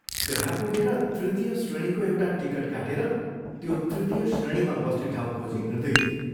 त्यहाँ पुगेर तृतीय श्रेणीको एउटा टिकट काटेर त्यो तृतीय श्रेणीमा बस्ने ठाउँ खोजी हिंड्दै थियो।